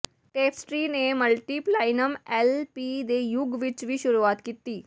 tapestry ਨੇ multiplatinum L P ਦੇ ਯੁਗ ਵਿਚ ਵੀ ਸ਼ੁਰੂਆਤ ਕੀਤੀ